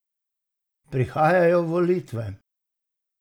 Prihajajo volitve!